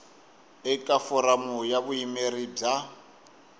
eka foramu ya vuyimeri bya